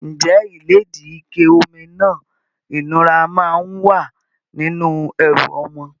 Ǹjẹ́ ìlédìí, ike omi náà ìnura máa ń wà nínú ẹrù ọmọ?